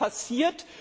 Aber was passiert?